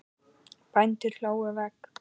Bændur hlóðu vegg.